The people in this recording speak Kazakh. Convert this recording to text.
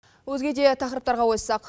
өзге де тақырыптарға ойыссақ